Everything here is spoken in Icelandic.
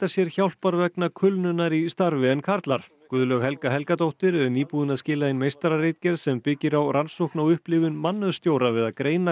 sér hjálpar vegna kulnunar í starfi en karlar Guðlaug Helga Helgadóttir er nýbúin að skila inn meistararitgerð sem byggir á rannsókn á upplifun mannauðsstjóra við að greina